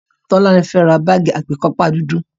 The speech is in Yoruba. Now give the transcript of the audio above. Tolani fẹ́ ra báàgì àgbékápá dúdú